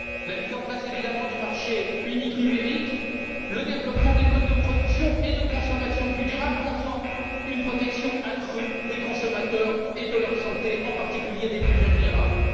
Sur la mise en place évidemment du marché unique numérique, sur le développement de modes de production et de consommation plus durables et, enfin, sur le renforcement de la protection des consommateurs et de leur santé, en particulier des plus vulnérables.